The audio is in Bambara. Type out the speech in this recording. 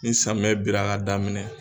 Ni samiyɛ binna ka daminɛ